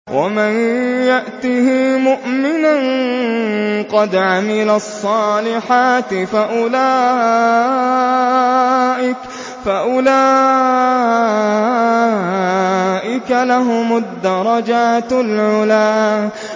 وَمَن يَأْتِهِ مُؤْمِنًا قَدْ عَمِلَ الصَّالِحَاتِ فَأُولَٰئِكَ لَهُمُ الدَّرَجَاتُ الْعُلَىٰ